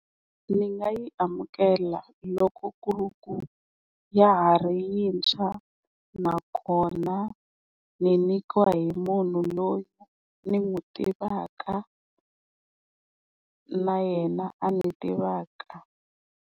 Ndzi nga yi amukela loko ku ri ku ya ha ri yintshwa nakona ni nyikiwa hi munhu loyi ni n'wi tivaka na yena a ni tivaka.